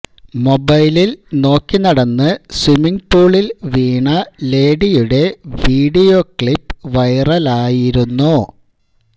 മൊബൈലില് നോക്കി നടന്ന് സ്വിമ്മിംഗ് പൂളില് വീണ ലേഡിയുടെ വീഡിയോ ക്ലിപ്പ് വൈറലായിരുന്നു